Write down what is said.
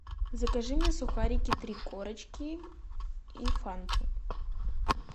закажи мне сухарики три корочки и фанту